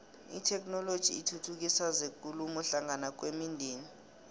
itheknoloji ithuthukisa zekulumo hlangana kwemindeni